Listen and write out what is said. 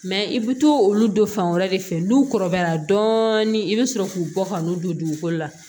i bɛ to olu don fan wɛrɛ de fɛ n'u kɔrɔbayara dɔɔni i bɛ sɔrɔ k'u bɔ ka n'u don dugukolo la